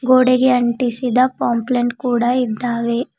ಗೋಡೆಗೆ ಅಂಟಿಸಿದ ಪಾಂಪ್ಲೆಂಟ್ ಕೂಡ ಇದ್ದಾವೆ.